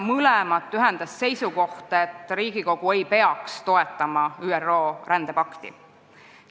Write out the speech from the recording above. Mõlemat ühendas seisukoht, et Riigikogu ei peaks ÜRO rändepakti toetama.